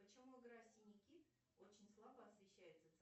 почему игра синий кит очень слабо освещается